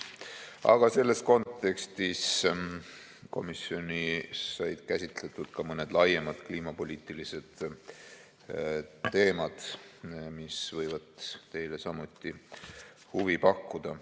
Aga selles kontekstis said komisjonis käsitletud ka mõni laiem kliimapoliitiline teema, mis võib teile samuti huvi pakkuda.